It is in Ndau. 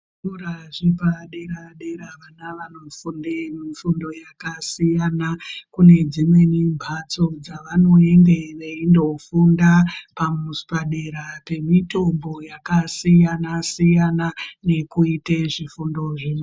Zvikora zvepadera dera vana vanofunde fundo yakasiyana. Kune dzimweni mbatso dzavanoende veindofunde padera mitombo yakasiyana siyana nekuite zvifundo zvimweni